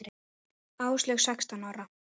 Áslaug sextán ára.